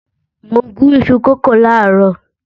Mo gún ìṣù kókò làárọ̀